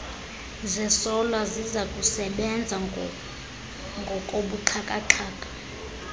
zesola zizakusebenza ngokobuxhakaxhaka